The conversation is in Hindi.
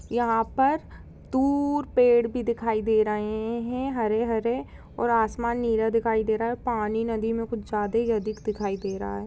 यहाँ पर दूर पेड़ भी दिखाई दे रहे हैं हरे-हरे और आसमान नीला दिखाई दे रहा है और पानी नदी में कुछ ज्यादा ही अधिक दिखाई दे रहा है।